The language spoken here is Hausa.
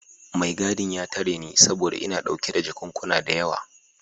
Mai gadin ya tare ni saboda ina dauke da jakunkuna da yawa.